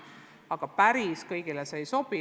See aga päris kõigile ei sobi.